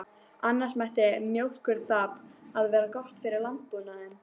Annars ætti mjólkurþamb að vera gott fyrir landbúnaðinn.